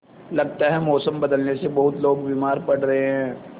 लगता है मौसम बदलने से बहुत लोग बीमार पड़ रहे हैं